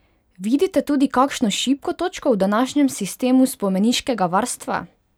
Vidite tudi kakšno šibko točko v današnjem sistemu spomeniškega varstva?